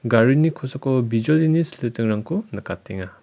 garini kosako bijolini silitingrangko nikatenga.